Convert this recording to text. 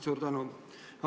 Suur tänu!